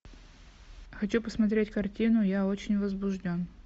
хочу посмотреть картину я очень возбужден